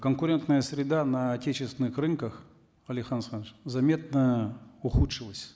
конкурентная среда на отечественных рынках алихан асханович заметно ухудшилась